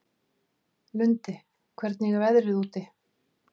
Lundi, hvernig er veðrið úti?